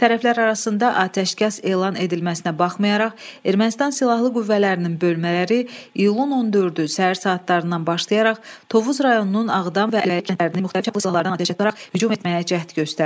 Tərəflər arasında atəşkəs elan edilməsinə baxmayaraq, Ermənistan silahlı qüvvələrinin bölmələri iyulun 14-ü səhər saatlarından başlayaraq Tovuz rayonunun Ağdam və əlləri kəndlərinin müxtəlif çaplı silahlarından atəşə tutularaq hücum etməyə cəhd göstərdi.